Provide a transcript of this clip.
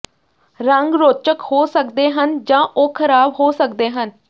ਰੰਗ ਰੌਚਕ ਹੋ ਸਕਦੇ ਹਨ ਜਾਂ ਉਹ ਖਰਾਬ ਹੋ ਸਕਦੇ ਹਨ